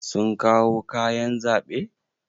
Sun kawo kayan zaɓe?